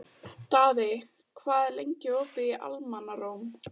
Daði, hvað er lengi opið í Almannaróm?